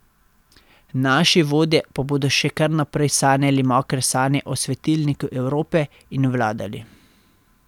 Naši vodje pa bodo še kar naprej sanjali mokre sanje o svetilniku Evrope in vladali.